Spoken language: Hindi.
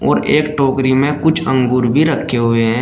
एक टोकरी में कुछ अंगूर भी रखे हुए हैं।